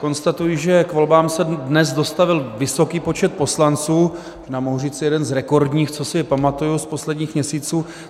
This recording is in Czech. Konstatuji, že k volbám se dnes dostavil vysoký počet poslanců, mohu říci jeden z rekordních, co si pamatuji z posledních měsíců.